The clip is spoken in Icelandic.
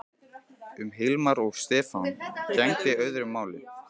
Um Hilmar og Stefán gegndi öðru máli.